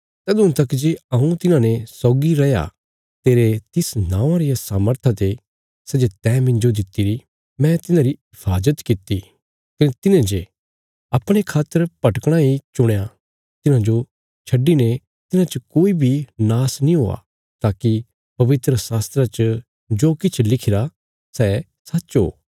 तदुआं तक जे हऊँ तिन्हांने सौगी रैया तेरे तिस नौआं रिया सामर्था ते सै जे तैं मिन्जो दित्तिरी मैं तिन्हांरी हिफाजत किति कने तिन्हेंजे अपणे खातर भटकणा हि चुणया तिन्हांजो छड्डीने तिन्हां च कोई बी नाश नीं हुआ ताकि पवित्रशास्त्रा च जो किछ लिखिरा सै सच्च ओ